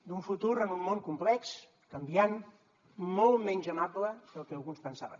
d’un futur en un món complex canviant molt menys amable del que alguns pensaven